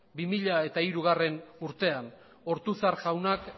bi mila hirugarrena urtean ortuzar jaunak